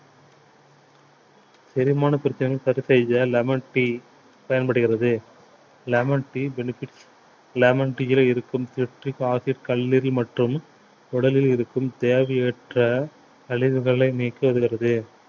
செரிமான பிரச்சனையை சரி செய்ய lemon tea பயன்படுகிறது lemon tea benefits lemon tea லே இருக்கும் citric acid கல்லிரல் மற்றும் உடலில் இருக்கும் தேவையற்ற கழிவுகளை நீக்க உதவுது